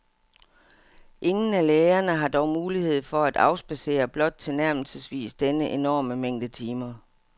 Ingen af lægerne har dog mulighed for at afspadsere blot tilnærmelsesvis denne enorme mængde timer.